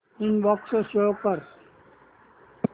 inbox show कर